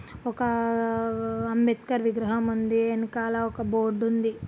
ఒక ఆహ్ అంబేద్కర్ విగ్రహం ఉంది వెనకాల ఒక బోర్డ్ ఉంది.